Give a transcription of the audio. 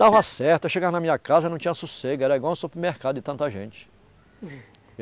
Dava certo, eu chegava na minha casa eu não tinha sossego, era igual um supermercado de tanta gente.